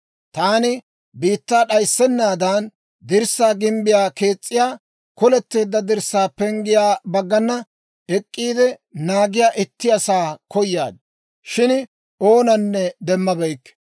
«Taani biittaa d'ayissennaadan, dirssaa gimbbiyaa kees's'iyaa, koletteedda dirssaa penggiyaa baggana ek'k'iide naagiyaa itti asaa koyaad; shin oonanne demmabeykke.